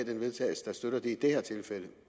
til vedtagelse der støtter det i det her tilfælde